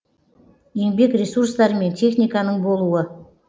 еңбек ресурстары мен техниканың болуы